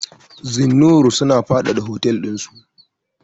Zennoor suna faɗaɗa hotel dinsu.